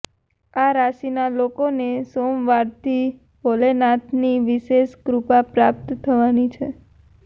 આ રાશિના લોકોને સોમવારથી ભોલેનાથની વિશેષ કૃપા પ્રાપ્ત થવાની છે